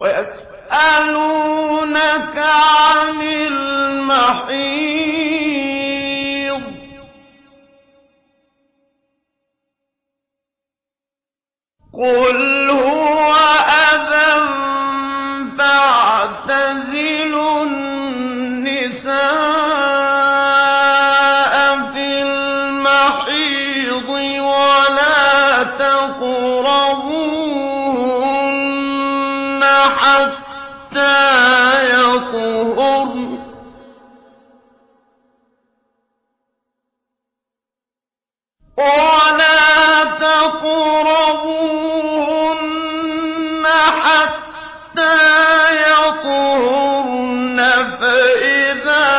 وَيَسْأَلُونَكَ عَنِ الْمَحِيضِ ۖ قُلْ هُوَ أَذًى فَاعْتَزِلُوا النِّسَاءَ فِي الْمَحِيضِ ۖ وَلَا تَقْرَبُوهُنَّ حَتَّىٰ يَطْهُرْنَ ۖ فَإِذَا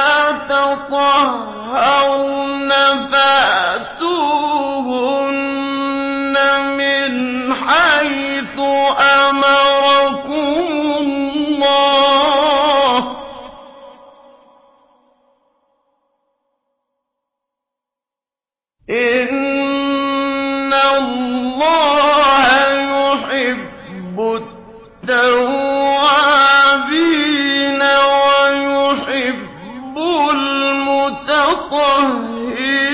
تَطَهَّرْنَ فَأْتُوهُنَّ مِنْ حَيْثُ أَمَرَكُمُ اللَّهُ ۚ إِنَّ اللَّهَ يُحِبُّ التَّوَّابِينَ وَيُحِبُّ الْمُتَطَهِّرِينَ